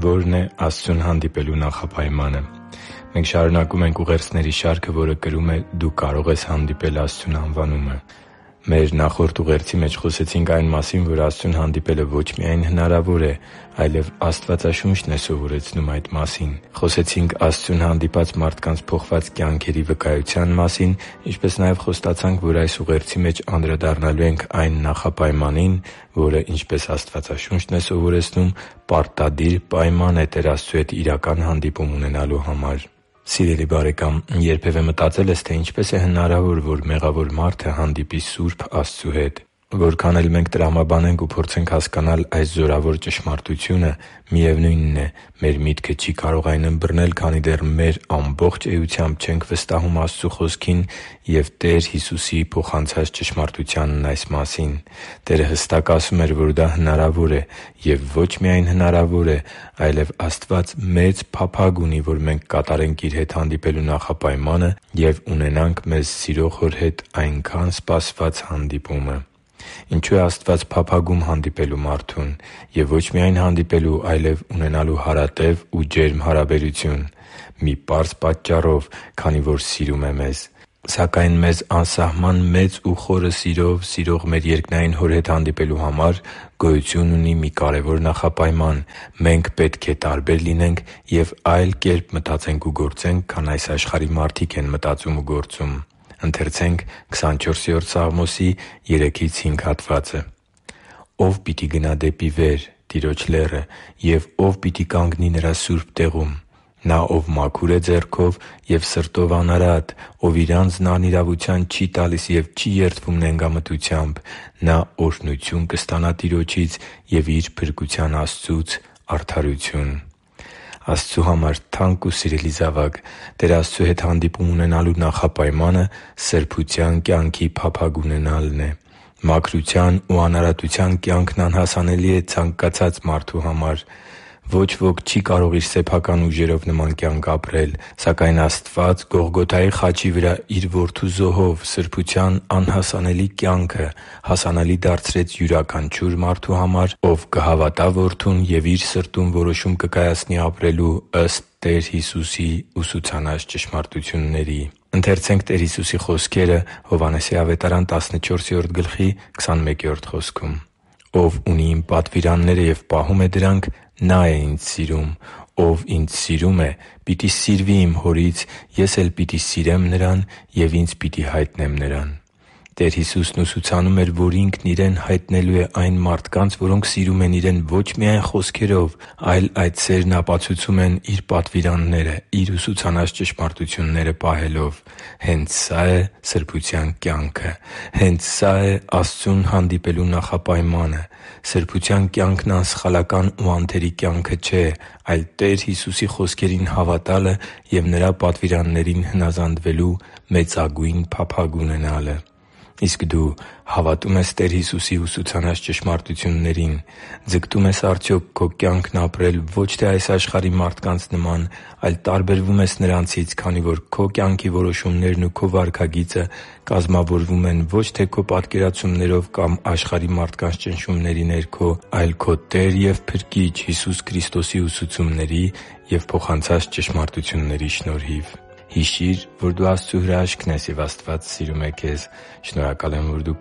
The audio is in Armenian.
Ո՞րն է Աստծուն հանդիպելու նախապայմանը Մենք շարունակում ենք ուղերձների շարքը, որը կրում է «Դու կարո՛ղ ես հանդիպել Աստծուն» անվանումը։ Մեր նախորդ ուղերձի մեջ խոսեցինք այն մասին, որ Աստծուն հանդիպելը ոչ միայն հնարավոր է, այլև Աստվածաշունչն է սովորեցնում այդ մասին։ Խոսեցինք Աստծուն հանդիպած մարդկանց փոխված կյանքերի վկայության մասին, ինչպես նաև խոստացանք, որ այս ուղերձի մեջ անդրադառնալու ենք այն նախապայմանին, որը, ինչպես Աստվածաշունչն է սովորեցնում, պարտադիր պայման է Տեր Աստծու հետ իրական հանդիպում ունենալու համար։ Սիրելի՛ բարեկամ, երբևէ մտածե՞լ ես, թե ինչպես է հնարավոր, որ մեղավոր մարդը հանդիպի սուրբ Աստծու հետ։ Որքան էլ մենք տրամաբանենք ու փորձենք հասկանալ այս զորավոր ճշմարտությունը, միևնույնն է, մեր միտքը չի կարող այն ըմբռնել, քանի դեռ մեր ամբողջ էությամբ չենք վստահում Աստծու Խոսքին և Տեր Հիսուսի փոխանցած ճշմարտությանն այս մասին։ Տերը հստակ ասում էր, որ դա հնարավոր է։ Եվ ոչ միայն հնարավոր է, այլև Աստված մեծ փափագ ունի, որ մենք կատարենք Իր հետ հանդիպելու նախապայմանը և ունենանք մեզ սիրող Հոր հետ այնքա՜ն սպասված հանդիպումը։ Ինչո՞ւ է Աստված փափագում հանդիպել մարդուն, և ոչ միայն հանդիպել, այլև ունենալ հարատև ու ջերմ հարաբերություն։ Մի պարզ պատճառով՝ քանի որ սիրում է մեզ։ Սակայն մեզ անսահման մեծ ու խորը սիրով սիրող մեր երկնային Հոր հետ հանդիպելու համար գոյություն ունի մի կարևոր նախապայման։ Մենք պետք է տարբեր լինենք ու այլ կերպ մտածենք ու գործենք, քան այս աշխարհի մարդիկ են մտածում ու գործում։ «Ո՞վ պիտի գնա դեպի վեր՝ Տիրոջ լեռը, և ո՞վ պիտի կանգնի Նրա սուրբ տեղում։ Նա, ով մաքուր է ձեռքով և սրտով անարատ. ով իր անձն անիրավության չի տալիս և չի երդվում նենգամտությամբ։ Նա օրհնություն կստանա Տիրոջից և իր փրկության Աստծուց՝ արդարություն» (Սաղմոս 24․3-5): Աստծու համար թանկ ու սիրելի՛ զավակ, Տեր Աստծու հետ հանդիպում ունենալու նախապայմանը սրբության կյանքի փափագ ունենալն է։ Մաքրության ու անարատության կյանքն անհասանելի է ցանկացած մարդու համար։ Ոչ ոք չի կարող իր սեփական ուժերով նման կյանք ապրել։ Սակայն Աստված Գողգոթայի խաչի վրա Իր Որդու զոհով սրբության անհասանելի կյանքը հասանելի դարձրեց յուրաքանչյուր մարդու համար, որը կհավատա Որդուն և իր սրտում որոշում կկայացնի ապրելու ըստ Տեր Հիսուսի ուսուցանած ճշմարտությունների։ «Ով ունի Իմ պատվիրանները և պահում է դրանք, նա՛ է Ինձ սիրում. ով Ինձ սիրում է, պիտի սիրվի Իմ Հորից, Ես էլ պիտի սիրեմ նրան և Ինձ պիտի հայտնեմ նրան» (Հովհաննես 14․21): Տեր Հիսուսն ուսուցանում էր, որ Ինքն Իրեն հայտնելու է այն մարդկանց, որոնք սիրում են Իրեն ոչ միայն խոսքերով, այլ այդ սերն ապացուցում են Իր պատվիրանները՝ Իր ուսուցանած ճշմարտությունները պահելով։ Հենց սա՛ է սրբության կյանքը։ Հենց սա՛ է Աստծուն հանդիպելու նախապայմանը։ Սրբության կյանքն անսխալական ու անթերի կյանքը չէ, այլ Տեր Հիսուսի խոսքերին հավատալը և Նրա պատվիրաններին հնազանդվելու մեծագույն փափագ ունենալը։ Իսկ դու հավատո՞ւմ ես Տեր Հիսուսի ուսուցանած ճշմարտություններին։ Ձգտո՞ւմ ես արդյոք քո կյանքն ապրել ո՛չ թե այս աշխարհի մարդկանց նման, այլ տարբերվում ես նրանցից, քանի որ քո կյանքի որոշումներն ու քո վարքագիծը կազմավորվում են ո՛չ թե քո պատկերացումներով կամ աշխարհի մարդկանց ճնշումների ներքո, այլ քո Տեր և Փրկիչ Հիսուս Քրիստոսի ուսուցումների և փոխանցած ճշմարտությունների շնորհիվ։ Հիշի՛ր, որ դու Աստծո հրաշքն ես, և Աստված սիրում է քեզ։ Շնորհակալ եմ, որ դու